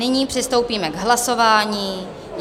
Nyní přistoupíme k hlasování.